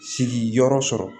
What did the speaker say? Sigiyɔrɔ sɔrɔ